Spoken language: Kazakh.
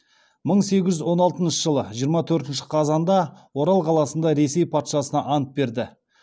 мың сегіз жүз он алтыншы жиырма төртінші қазанда орал қаласында ресей патшасына ант берді